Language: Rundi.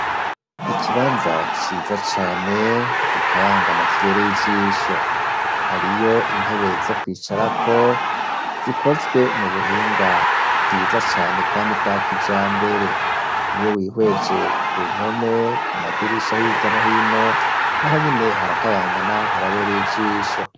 Ikibanza ciza cane kikayangana kibereye ijisho hariyo intebe zo kwicara ko zikozwe mu buhinga bwiza cane kandi bwa kijambere niyo wihweje ku mpome ku madirisha hiryanohino n'aho nyine harakayangana harabereye ijisho.